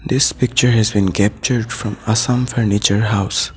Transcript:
This picture has been capture from assam furniture house.